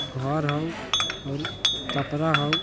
घर हउ और कपरा हउ।